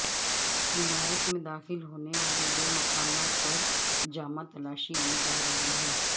عمارت میں داخل ہونے والے دو مقامات پر جامہ تلاشی لی جارہی تھی